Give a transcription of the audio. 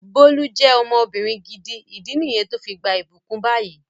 Bólú je ọmọbìnrin gidi, ìdí niyen to fi gbà ibukun bayi